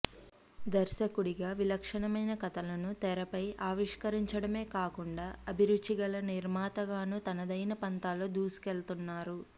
దర్శకుడిగా విలక్షణమైన కథలను తెరపై ఆవిష్కరించడమే కాకుండా అభిరుచి గల నిర్మాతగానూ తనదైన పంథాలో దూసుకెళ్తున్నారు